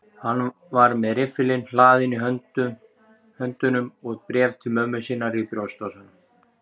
Hann var með riffilinn hlaðinn í höndunum og bréf til mömmu sinnar í brjóstvasanum.